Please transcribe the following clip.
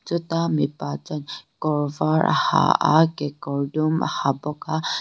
chuta mipa chuan kawrvar a ha a kekawr dum a ha bawk a--